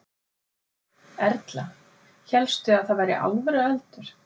Erla: Hélstu að það væri alvöru eldur?